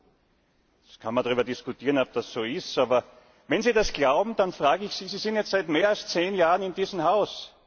Man kann darüber diskutieren, ob das so ist. Aber wenn Sie das glauben, dann frage ich Sie Sie sind jetzt seit mehr als zehn Jahren in diesem Haus.